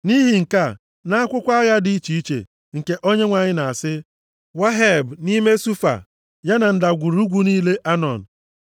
Nʼihi nke a, nʼAkwụkwọ Agha dị iche iche nke Onyenwe anyị na-asị, “Waheb nʼime Sufa ya na ndagwurugwu niile Anọn